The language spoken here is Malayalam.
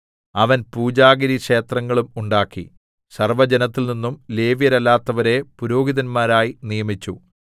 അവൻ പൂജാഗിരിക്ഷേത്രങ്ങളും ഉണ്ടാക്കി സർവ്വജനത്തിൽനിന്നും ലേവ്യരല്ലാത്തവരെ പുരോഹിതന്മാരായി നിയമിച്ചു